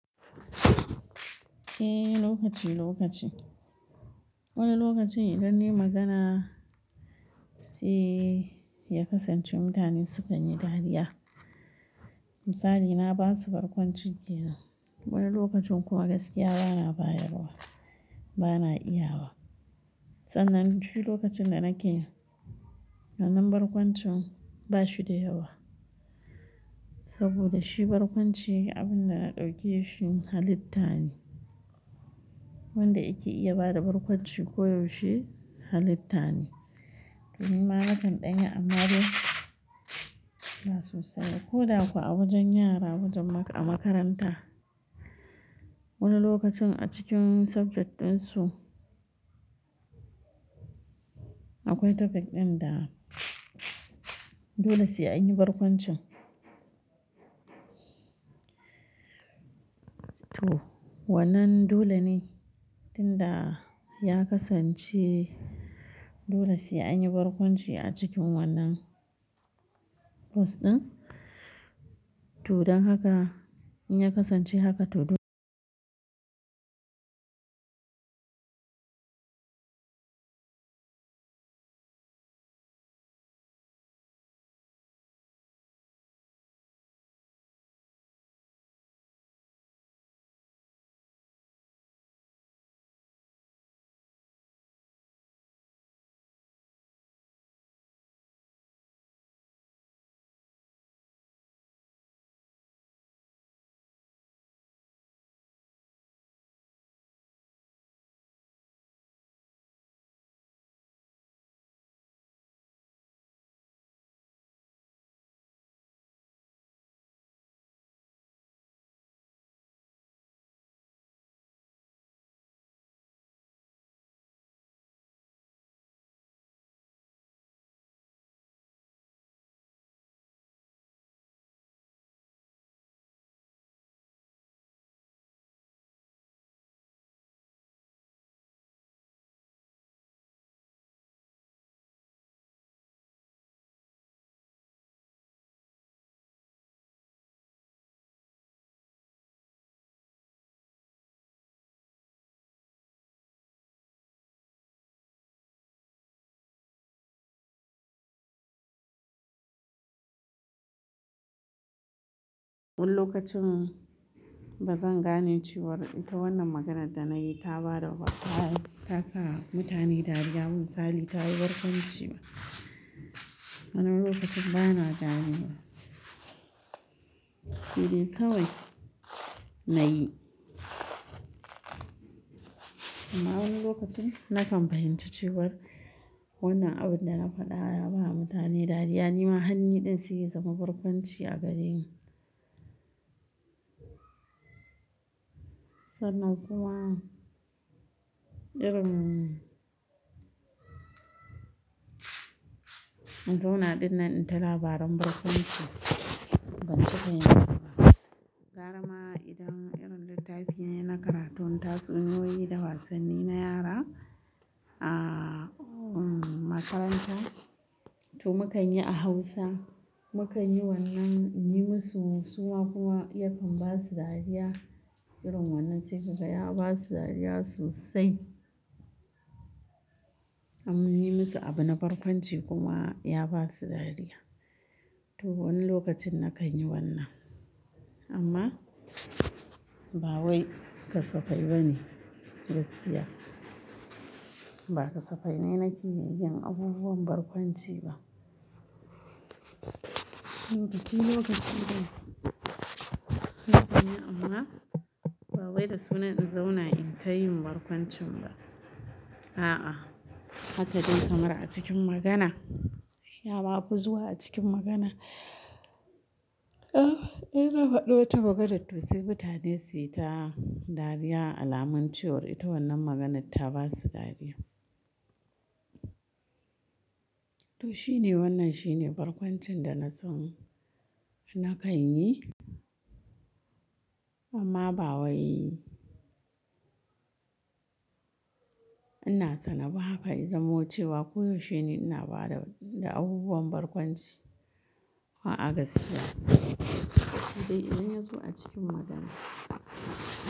Eh, lokaci lokaci. Wani lokacin idan nai magana sai ya kasance mutane sukan yi dariya. Misali na ba su barkwanci kenan. Wani lokacin kuma gaskiya bana bayarwa, bana iya wa. Sananan shi lokacin da nake wannan barkwancin ba shi da yawa. Saboda shi barkwanci abun da na ɗauke shi halitta ne. Wanda yake iya bada barkwanci koyaushe halitta ne. To ni ma na kan ɗanya amma dai ba so saial ba. Ko da kuwa a wajen yara wajen a makaranta. Wani lokacin a cikin subject ɗinsu akwai topic ɗin da dole sai anyi barkwancin. To wannan dole ne, tinda ya kasance dole sai anyi barkwanci a cikin wannan course ɗin. To dan haka in ya kasance haka to dole. Wani lokacin bazan gane cewar ita wannan maganar da na yi ta bada ta ta sa mutane dariya ba misali ta yi barkwanci. Wani lokacin bana gane wa. He dai kawai na yi. Amma wani lokacin na kam fahinci cewar wannan abun da na faɗa ya ba mutane dariya. Ni ma hannun ɗin suke zama barkwanci a gare ni. Sannanilan kuma irin in zauna ɗin nan in ta labaran barkwanci banyi cika yinsa ba gara ma idan irin littafi ne na karatun tatsuniyoyi da wasanni na yara a makaranta. To mu kan yi a Hausa. Mu kan yi wannan in yi musu suma kuma ya kan ba su dariya. Irin wannan sai kaga ya ba su dariya sosai. Am mun yi musu abu na barkwanci kuma ya ba su dariya. To wani lokacin na kan yi wannan. Amma ba wai kasafai ba ne gaskiya. Ba kasafai ne na kiyaye abubuwan barkwanci ba. Lokaci lokaci ne. Haka ne amma ba wai da sunan in zauna in ta yin barkwancin ba. A'a haka dai kamar a cikin magana. Ya ma fi zuwa a cikin magana. Eh, ina faɗo ta maganar to sai mutane sai ta dariya alamun cewar ita wannan maganar ta ba su dariya. To shi ne wannan shi ne barkwancin da na son na kan yi. Amma ba wai ina tsana ba kai zamo cewa koyaushe ne ina bada da abubuwan barkwanci. A'a gaskiya. Sai idan ya zo a cikin magana.